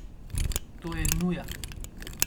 To je nuja.